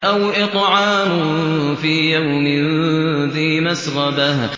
أَوْ إِطْعَامٌ فِي يَوْمٍ ذِي مَسْغَبَةٍ